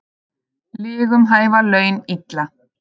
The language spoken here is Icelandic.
Lygum hæfa laun ill.